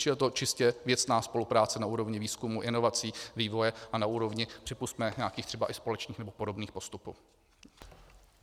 Čili je to čistě věcná spolupráce na úrovni výzkumu, inovací, vývoje a na úrovni, připusťme, nějakých třeba i společných nebo podobných postupů.